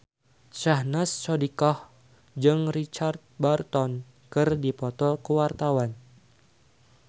Syahnaz Sadiqah jeung Richard Burton keur dipoto ku wartawan